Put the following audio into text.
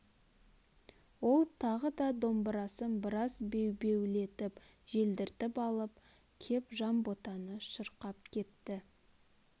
ол тағы да домбырасын біраз бебеулетіп желдіртіп алып кеп жанботаны шырқап кетті